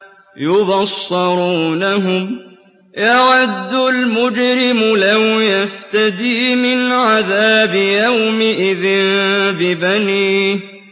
يُبَصَّرُونَهُمْ ۚ يَوَدُّ الْمُجْرِمُ لَوْ يَفْتَدِي مِنْ عَذَابِ يَوْمِئِذٍ بِبَنِيهِ